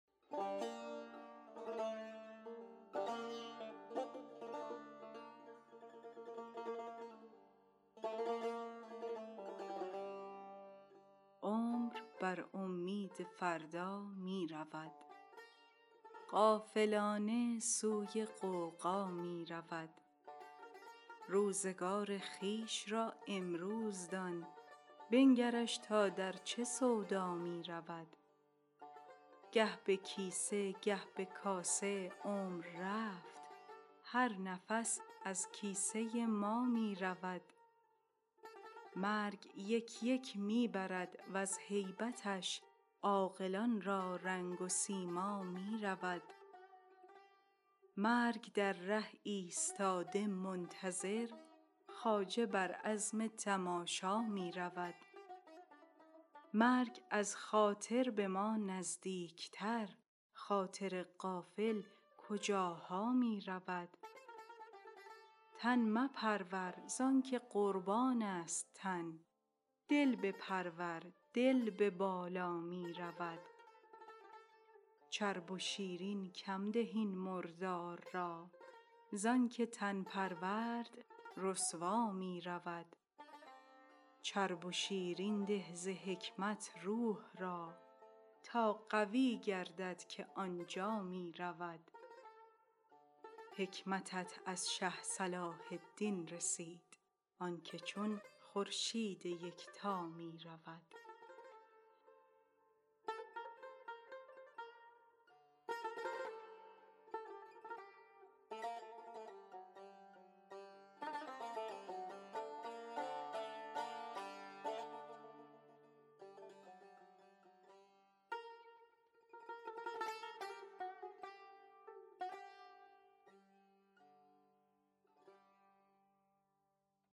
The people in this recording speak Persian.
عمر بر اومید فردا می رود غافلانه سوی غوغا می رود روزگار خویش را امروز دان بنگرش تا در چه سودا می رود گه به کیسه گه به کاسه عمر رفت هر نفس از کیسه ما می رود مرگ یک یک می برد وز هیبتش عاقلان را رنگ و سیما می رود مرگ در ره ایستاده منتظر خواجه بر عزم تماشا می رود مرگ از خاطر به ما نزدیکتر خاطر غافل کجاها می رود تن مپرور زانک قربانیست تن دل بپرور دل به بالا می رود چرب و شیرین کم ده این مردار را زانک تن پرورد رسوا می رود چرب و شیرین ده ز حکمت روح را تا قوی گردد که آن جا می رود حکمتت از شه صلاح الدین رسد آنک چون خورشید یکتا می رود